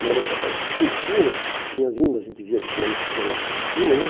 O ônibus apareceu lá em cima, vinha vindo, a gente via que o ônibus vinha lá por cima, né?